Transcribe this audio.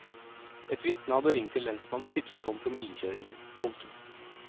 Et vitne hadde ringt til lensmannen og tipset om promillekjøringen. punktum